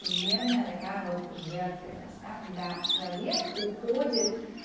чрезмерная такая вот жертвенность да когда человек уходит